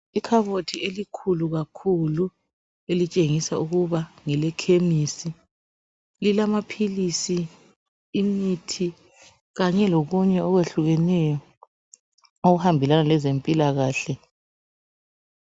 Ikhabothi elikhulu kakhulu elitshengisa ukuba ngelekhemisi. Lilamaphilisi, imithi kanye lokunye okwehlukeneyo okuhambelana lezempilakahle.